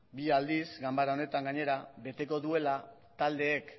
bi aldiz ganbara honetan gainera beteko duela taldeek